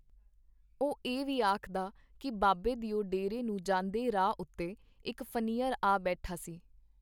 ਉਹ ਇਹ ਵੀ ਆਖਦਾ ਕੀ ਬਾਬੇ ਦਿਓ ਡੇਰੇ ਨੂੰ ਜਾਂਦੇ ਰਾਹ ਉੱਤੇ ਇੱਕ ਫਨੀਅਰ ਆ ਬੈਠਾ ਸੀ.